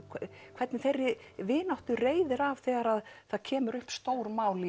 hvernig þeirri vináttu reiðir af þegar kemur upp stór mál